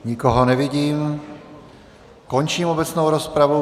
Nikoho nevidím, končím obecnou rozpravu.